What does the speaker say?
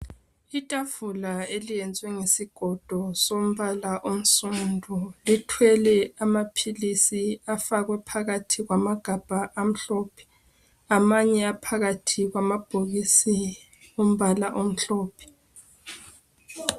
Itafula eliyenziwe ngesigodo sombala onsundu lithwele amaphilisi afakwe phakathi kwamagabha amhlophe amanye aphakathi kwamabhokisi ombala omhlophe